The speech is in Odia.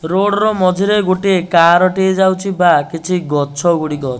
ରୋଡ ର ମଝିରେ ଗୋଟେ କାର ଟିଏ ଯାଉଚି ବା କିଛି ଗଛ ଗୁଡ଼ିକ --